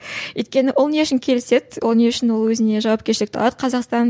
өйткені ол не үшін келіседі ол не үшін ол өзіне жауапкершілікті алады қазақстан